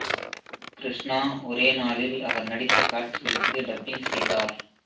கிருஷ்ணா ஒரே நாளில் அவர் நடித்த காட்சிகளுக்கு டப்பிங் செய்தார்